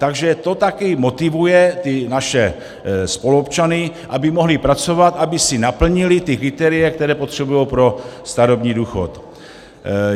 Takže to taky motivuje ty naše spoluobčany, aby mohli pracovat, aby si naplnili ta kritéria, která potřebují pro starobní důchod.